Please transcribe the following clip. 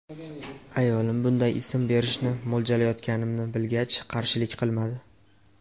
Ayolim bunday ism berishni mo‘ljallayotganimni bilgach, qarshilik qilmadi.